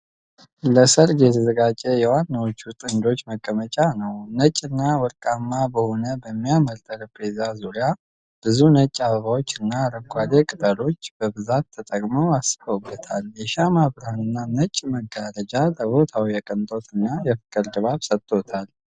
ለሠርግ የተዘጋጀ የዋናዎቹ ጥንዶች መቀመጫ ነው። ነጭና ወርቃማ በሆነ የሚያምር ጠረጴዛ ዙሪያ ብዙ ነጭ አበባዎች እና አረንጓዴ ቅጠሎች በብዛት ተጠቅመው አስውበውታል። የሻማ ብርሃንና ነጭ መጋረጃ ለቦታው የቅንጦት እና የፍቅር ድባብ ሰጥቶታል።